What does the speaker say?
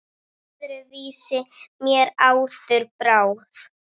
Öðru vísi mér áður brá.